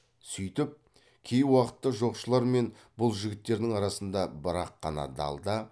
сүйтіп кей уақытта жоқшылар мен бұл жігіттердің арасында бір ақ қана далда